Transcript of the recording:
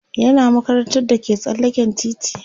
yana makarantar da ke tsallaken titi